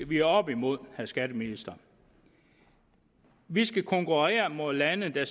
vi er oppe imod vil skatteministeren vi skal konkurrere mod lande der